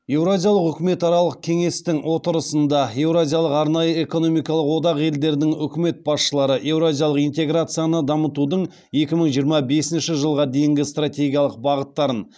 еуразиялық үкіметаралық кеңестің отырысында еуразиялық арнайы экономикалық одақ елдерінің үкімет басшылары еуразиялық интеграцияны дамытудың екі мың жиырма бесінші жылға дейінгі стратегиялық бағыттарын